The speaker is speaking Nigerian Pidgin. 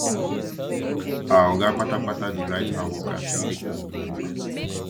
our oga kpata kpata dey write how workers dey take work for paper